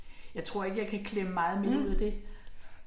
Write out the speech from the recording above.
Jeg tror ikke jeg kan klemme meget mere ud af det